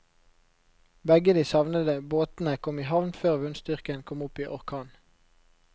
Begge de savnede båtene kom i havn før vindstyrken kom opp i orkan.